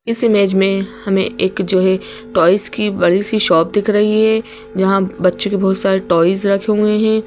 इस इमेज में हमें एक जो है टॉयज़ की बड़ी सी शॉप दिख रही है यहाँ बच्चों के बहुत सारे टॉयज़ रखे हुए हैं।